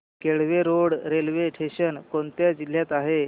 Kelve road railway station कोणत्या जिल्ह्यात आहे